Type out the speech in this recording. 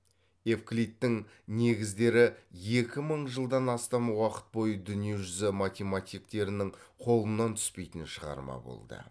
евклидтің негіздері екі мың жылдан астам уақыт бойы дүние жүзі математиктерінің қолынан түспейтін шығарма болды